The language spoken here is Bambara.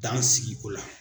Dansigi o la.